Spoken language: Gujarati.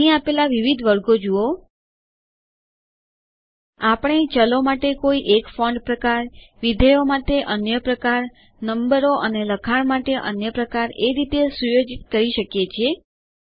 અહીં આપેલા વિવિધ વર્ગો જુઓ160 આપણે ચલો માટે કોઈ એક ફોન્ટ પ્રકાર વિધેયો માટે અન્ય પ્રકાર નંબરો અને લખાણ માટે અન્ય પ્રકાર એ રીતે સુયોજિત કરી શકીએ છીએ